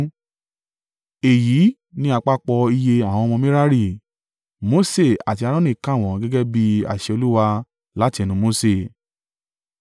Èyí ni àpapọ̀ iye àwọn ọmọ Merari. Mose àti Aaroni kà wọ́n gẹ́gẹ́ bí àṣẹ Olúwa láti ẹnu Mose.